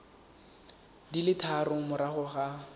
di le tharo morago ga